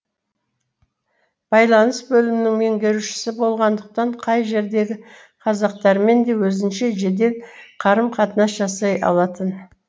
байланыс бөлімінің меңгерушісі болғандықтан қай жердегі қазақтармен де өзінше жедел қарым қатынас жасай алатын